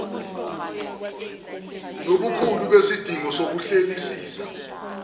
nobukhulu besidingo sokuhlelisisa